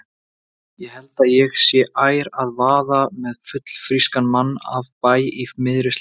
Ég held ég sé ær að vaða með fullfrískan mann af bæ í miðri sláturtíð.